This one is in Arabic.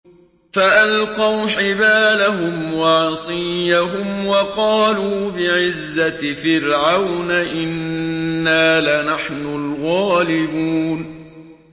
فَأَلْقَوْا حِبَالَهُمْ وَعِصِيَّهُمْ وَقَالُوا بِعِزَّةِ فِرْعَوْنَ إِنَّا لَنَحْنُ الْغَالِبُونَ